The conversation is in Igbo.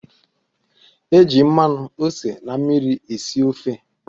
E ji mmanụ, ose, na mmiri esi ofe